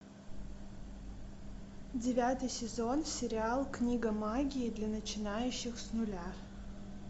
девятый сезон сериал книга магии для начинающих с нуля